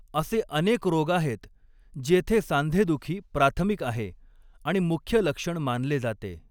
असे अनेक रोग आहेत जेथे सांधेदुखी प्राथमिक आहे आणि मुख्य लक्षण मानले जाते.